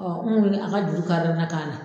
n kun me a ka juru kari na kan na.